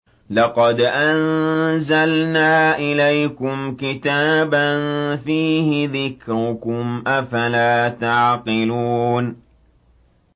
لَقَدْ أَنزَلْنَا إِلَيْكُمْ كِتَابًا فِيهِ ذِكْرُكُمْ ۖ أَفَلَا تَعْقِلُونَ